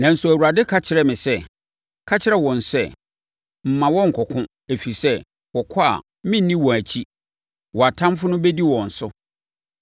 Nanso, Awurade ka kyerɛɛ me sɛ, “Ka kyerɛ wɔn sɛ, ‘Mma wɔnnkɔko, ɛfiri sɛ, wɔkɔ a merenni wɔn akyi. Wɔn atamfoɔ no bɛdi wɔn so.’ ”